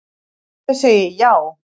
Ég segi já.